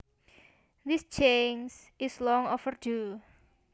This change is long overdue